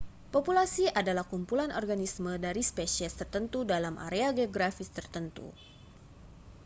populasi adalah kumpulan organisme dari spesies tertentu dalam area geografis tertentu